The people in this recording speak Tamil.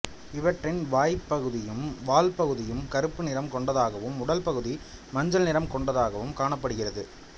இவற்றின் வாய்ப்பகுதியும் வால்ப்பகுதியும் கருப்பு நிறம் கொண்டதாகவும் உடல் பகுதி மஞ்சள் நிறம் கொண்டதாகவும் காணப்படுகிறது